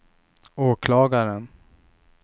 åklagaren